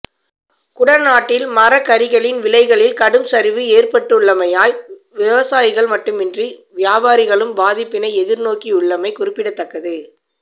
குடாநாட்டில் மரக்கறிகளின் விலைகளில் கடும் சரிவு ஏற்பட்டுள்ளமையால் விவசாயிகள் மட்டுமன்றி வியாபாரிகளும் பாதிப்பினை எதிர்நோக்கியுள்ளமை குறிப்பிடத்தக்கது